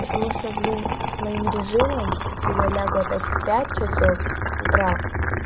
потому что блин с моим режимом если я лягу опять в пять часов утра